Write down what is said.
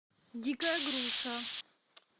дикая груша